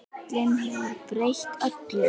Köln hefur breytt öllu.